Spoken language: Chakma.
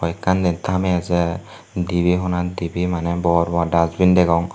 ekkan den tame ejer dibey honat dibey mane bor bor dasbin degong.